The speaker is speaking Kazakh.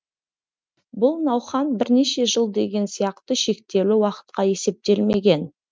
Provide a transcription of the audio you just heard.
бұл науқан бірнеше жыл деген сияқты шектеулі уақытқа есептелмеген